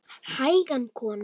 Hægan kona!